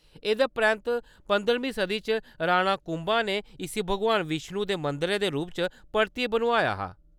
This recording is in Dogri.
एह्‌‌‌दे परैंत्त पंदरह्बीं सदी च राणा कुंभा ने इस्सी भगवान विष्णु दे मंदरै दे रूपै च परतियै बनोआया हा।